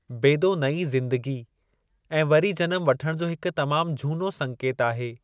बेदो नईं ज़‍िंदगी ऐं वरी जनम वठणु जो हिकु तमामु झूनो संकेत आहे।